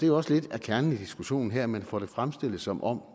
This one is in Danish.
jo også lidt er kernen i diskussionen her er at man får det fremstillet som om